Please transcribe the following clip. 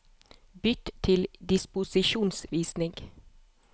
Bytt til disposisjonsvisning